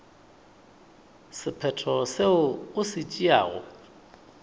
sephetho seo o se tšeago